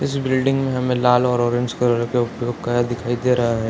इस बिल्डिंग में हमें लाल और ऑरेंज कलर के दिखाई दे रहे हैं |